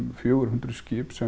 fjögur hundruð skip sem